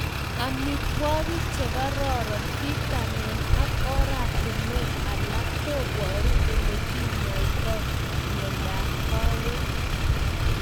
Amitwogik chekararan, vitamin ak oratunwek alak koparu olekinyaitoi miondap kawek